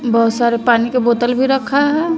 बहोत सारे पानी के बोतल भी रखा है।